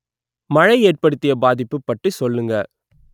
மழை ஏற்படுத்திய பாதிப்பு பற்றி சொல்லுங்க